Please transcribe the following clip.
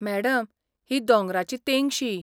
Madam, ही दोंगराची तेंगशी.